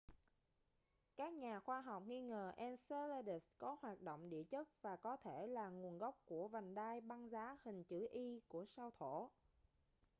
các nhà khoa học nghi ngờ enceladus có hoạt động địa chất và có thể là nguồn gốc của vành đai băng giá hình chữ e của sao thổ